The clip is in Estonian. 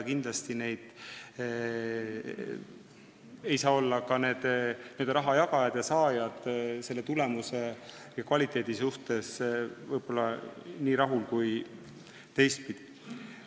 Kindlasti ei saa ka raha jagajad ja saajad selle tulemuse ja kvaliteediga olla nii rahul, kui nad oleksid teistsuguses olukorras.